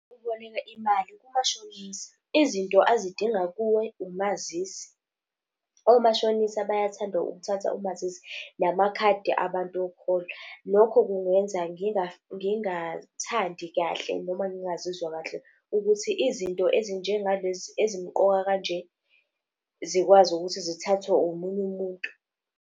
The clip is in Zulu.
Ukuboleka imali kumashonisa, izinto azidinga kuwe umazisi. Omashonisa bayathanda ukuthatha umazisi, namakhadi abantu okuhola. Lokho kungenza ngingathandi kahle noma ngingazizwa kahle ukuthi izinto ezinjengalezi ezimqoka kanje zikwazi ukuthi zithathwe omunye umuntu.